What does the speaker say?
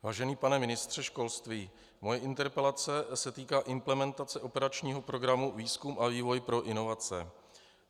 Vážený pane ministře školství, moje interpelace se týká implementace operačního programu Výzkum a vývoj pro inovace.